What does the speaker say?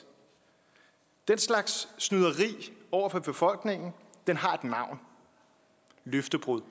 den slags snyderi over for befolkningen har et navn løftebrud